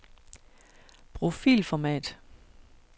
Brug filformat.